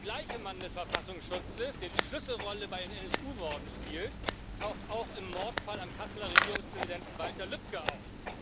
Der gleiche Mann des Verfassungsschutzes, der die Schlüsselrolle bei den NSU Morden spielt, taucht auch im Mordfall am Kasseler Regierungspräsidenten Walter Lübcke auf.